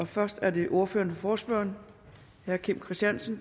først er det ordføreren for forespørgerne herre kim christiansen